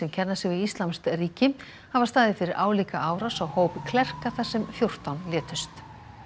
kenna sig við íslamskt ríki hafa staðið fyrir álíka árás á hóp klerka þar sem fjórtán létust